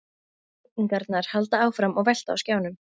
Auglýsingarnar halda áfram að velta á skjánum.